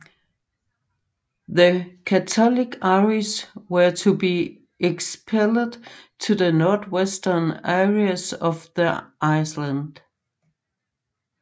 The Catholic Irish were to be expelled to the northwestern areas of the island